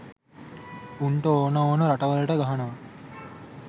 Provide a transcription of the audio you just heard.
උන්ට ඕන ඕන රටවලට ගහනවා.